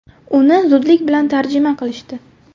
Uni zudlik bilan tarjima qilishdi.